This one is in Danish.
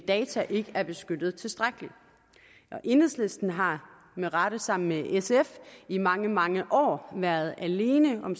data ikke er beskyttet tilstrækkeligt enhedslisten har med rette sammen med sf i mange mange år været alene om